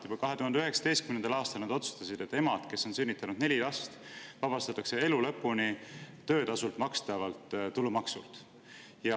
Juba 2019. aastal otsustasid nad, et emad, kes on sünnitanud neli last, vabastatakse elu lõpuni töötasult makstavast tulumaksust.